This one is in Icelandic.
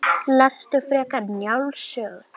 Lestu frekar Njáls sögu